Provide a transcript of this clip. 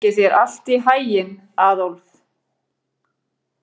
Gangi þér allt í haginn, Aðólf.